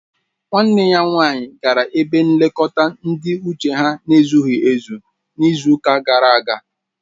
Nwanne ya nwanyị gara ebe nlekọta ndị uche ha ezughị ezu n'izu ụka gara aga